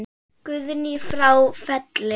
Guðný frá Felli.